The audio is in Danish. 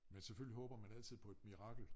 Men selvfølgelig håber man altid på et mirakel